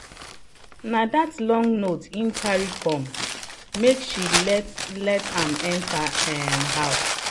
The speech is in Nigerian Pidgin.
na that long note him carry come make she let let am enter um house.